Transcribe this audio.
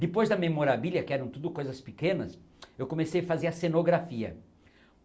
Depois da memorabilia, que eram tudo coisas pequenas, eu comecei a fazer a cenografia.